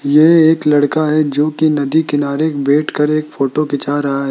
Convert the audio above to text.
ये एक लड़का है जो कि नदी किनारे बैठ कर एक फोटो खींचा रहा है।